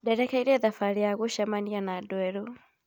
Ndĩrekire thabarĩ ya gũcemania na andũ erũ.